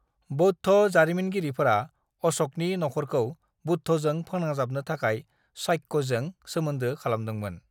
बौद्ध जारिमिनगिरिफोरा अश'कनि नखरखौ बुद्धजों फोनांजाबनो थाखाय शाक्यजों सोमोन्दो खालामदोंमोन।